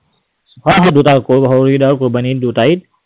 হয়, হয় দুটা। সৰু ঈদ আৰু কোৰৱানী ঈদ।